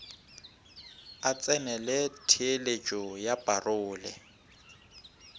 a tsenele theeletšo ya parole